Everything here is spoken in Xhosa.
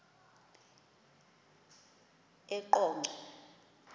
eqonco